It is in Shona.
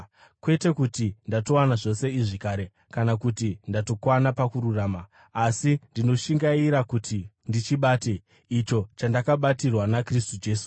Kwete kuti ndatowana zvose izvi kare, kana kuti ndatokwana pakururama, asi ndinoshingaira kuti ndichibate icho chandakabatirwa naKristu Jesu.